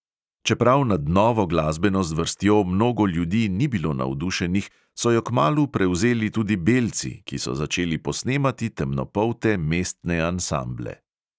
Čeprav nad novo glasbeno zvrstjo mnogo ljudi ni bilo navdušenih, so jo kmalu prevzeli tudi belci, ki so začeli posnemati temnopolte mestne ansamble.